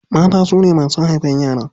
Mata su ne masu haifan yara.